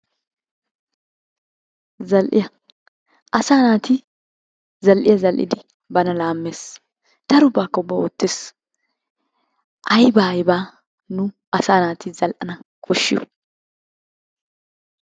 Zal'iyaa asaa naatti zal'iyaa zal'idi bana laames, darobbakka uba oottes, ayba ayba nunni asa naatti zal'anna koshshoo?